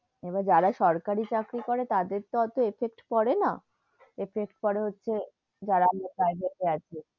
এবার যারা সরকারি চাকরি করে তাদের তো অটো effect পড়ে না, effect পড়ে হচ্ছে যারা যারা তে আছে,